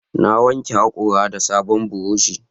Na wanke haƙora da sabon burushi